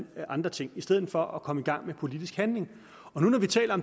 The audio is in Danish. andre ting i stedet for at komme i gang med politisk handling når